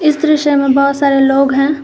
इस दृश्य में बहुत सारे लोग हैं।